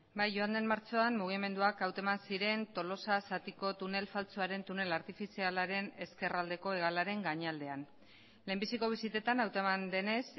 bai joan den martxoan mugimenduak hauteman ziren tolosa zatiko tunel faltsuaren tunel artifizialaren ezkerraldeko hegalaren gainaldean lehenbiziko bisitetan hauteman denez